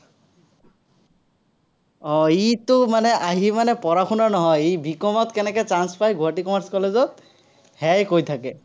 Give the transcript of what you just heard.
আহ ইটো মানে আহি মানে পঢ়া-শুনা নহয়, ই B. COM ত কেনেকে chance পাই গুৱাহাটী commerce college ত, সেয়াই কৈ থাকে।